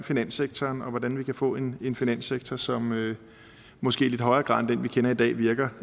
finanssektoren og om hvordan vi kan få en en finanssektor som måske i lidt højere grad end den vi kender i dag virker